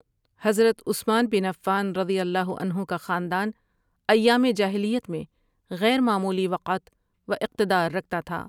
حضرت عثمان بن عفان رضی اللہ عنہ کا خاندان ایام جاہلیت میں غیر معمولی وقعت و اقتدار رکھتا تھا۔